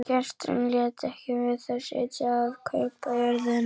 Gesturinn lét ekki við það sitja að kaupa jörðina.